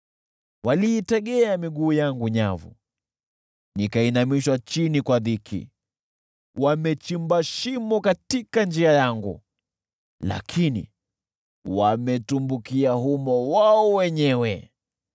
Waliitegea miguu yangu nyavu, nikainamishwa chini na dhiki. Wamechimba shimo katika njia yangu, lakini wametumbukia humo wao wenyewe.